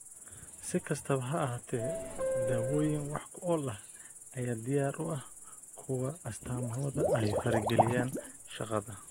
Si kastaba ha ahaatee, daawooyin wax ku ool ah ayaa diyaar u ah kuwa astaamahooda ay farageliyaan shaqada.